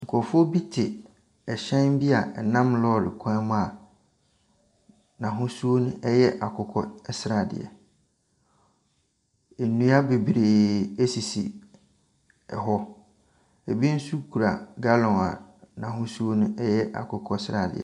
Nkurɔfoɔ bi te ɛhyɛn bi a ɛnam lorry kwan mu a n'ahosuo no ɛyɛ akokɔsradeɛ. Nnua bebree ɛsisi ɛhɔ. Ebi nso kura galɔn a n'ahosuo no yɛ akokɔsradeɛ.